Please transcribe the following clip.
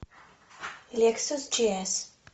лексус джи эс